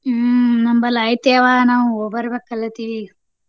ಹ್ಮ್ ನಮ್ಮಲ್ಲಿ ಐತಿ ಯವ್ವಾ ನಾವ್ ಹೋಗ್ಬರ್ಬೇಕಲ್ಲ ತಿಳಿ.